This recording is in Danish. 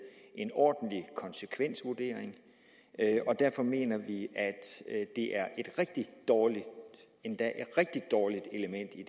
en ordentlig konsekvensvurdering og derfor mener vi at det er et rigtig dårligt endda rigtig dårligt element i